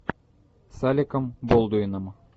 с алеком болдуином